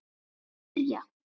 Að kyrja.